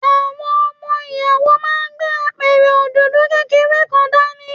Àwọn ọmọ Ìyàwó máa gbé Apẹ̀rẹ̀ òdòdó kékeré kan dání.